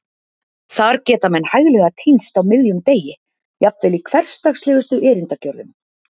Þar geta menn hæglega týnst á miðjum degi, jafnvel í hversdagslegustu erindagjörðum.